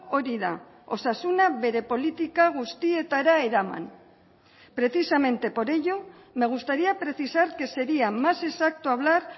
hori da osasuna bere politika guztietara eraman precisamente por ello me gustaría precisar que sería más exacto hablar